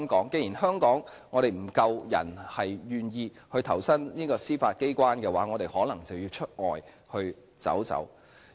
既然香港願意投身司法機關的人手不足，我們可能便要往外尋找。